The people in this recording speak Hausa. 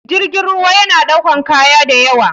Jirgin ruwa yana ɗaukan kaya dayawa.